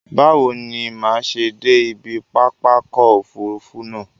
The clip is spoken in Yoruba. Báwo ni màá ṣe dé ibi pápákọ̀ òfurufú náà?